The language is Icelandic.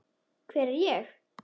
Hver er ég?